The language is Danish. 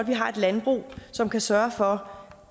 vi har et landbrug som kan sørge for